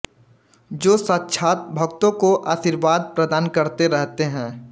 जो साक्षात् भक्तों को आर्शीवाद प्रदान करते रहते हैं